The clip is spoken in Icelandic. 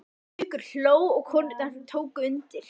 Haukur hló og konurnar tóku undir.